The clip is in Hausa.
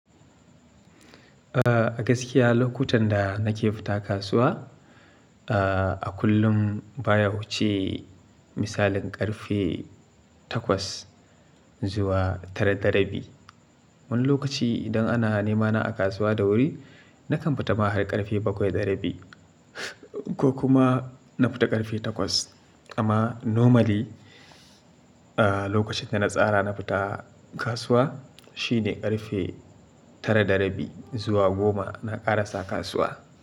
A gaskiya lokutan da nake fita kasuwa, a kullum baya wuce misalin ƙarfe takwas zuwa tara dara bi. Wani lokaci idan ana nemana a kasuwa da wuri, na kan fita ma har ƙarfe bakwai dara bi ko kuma na fita ƙarfe takwas. Amma normally lokacin da na tsara na fita kasuwa shine ƙarfe tara dara bi zuwa goma na ƙarasa kasuwa.